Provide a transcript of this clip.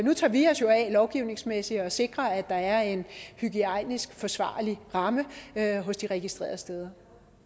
nu tager vi os jo af lovgivningsmæssigt at sikre at der er en hygiejnisk forsvarlig ramme hos de registrerede steder